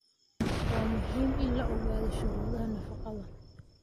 Waa muhiim in la ogaado shuruudaha nafaqada